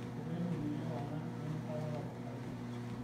ireteni lewang'an enyorata tapasali